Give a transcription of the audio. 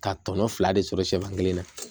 Ka tɔnɔ fila de sɔrɔ siyɛfan kelen na